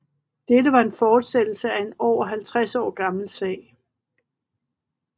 Dette var en fortsættelse af en over 50 år gammel sag